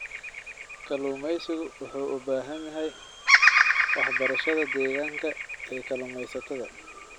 Kalluumaysigu wuxuu u baahan yahay waxbarashada deegaanka ee kalluumaysatada.